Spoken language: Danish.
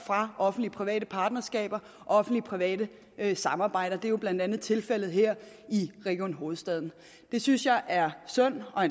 fra offentlig private partnerskaber offentlig private samarbejder det er jo blandt andet tilfældet her i region hovedstaden det synes jeg er synd og